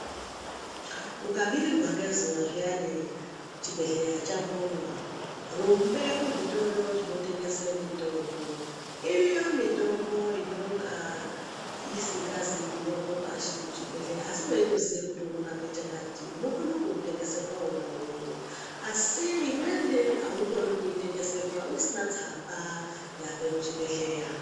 Ukabirirwa ngezuva zviyani chibhedhleya chambonywa rumbe kuzvitoro zvinotengese mitombo. Iriyo mitombo inonga isingazi kunyorwa pashi kuchibhedhleya. Asi veitoziye kuti unorape chakati unokona kuutengeserwa vona ivovo. Asi imweni haukoni kuitengeserwa usina tsamba yabve kuchibhedhleya.